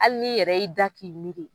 Hali n'i yɛrɛ y'i da k'i miri.